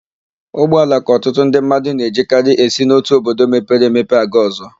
Ụgbọala ka ọtụtụ ndị mmadụ na-ejikarị esi n'otu obodo mepere emepe aga ọ̀zọ́.